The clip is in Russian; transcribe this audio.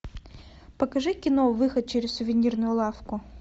покажи кино выход через сувенирную лавку